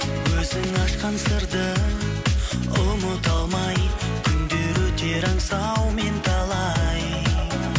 өзің ашқан сырды ұмыта алмай күндер өтер аңсаумен талай